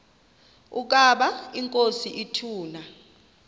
ukaba inkosi ituna